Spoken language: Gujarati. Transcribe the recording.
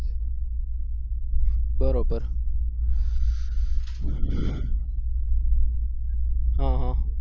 બરોબર હા હા